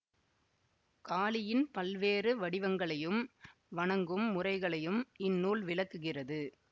காளியின் பல்வேறு வடிவங்களையும் வணங்கும் முறைகளையும் இந்நூல் விளக்குகிறது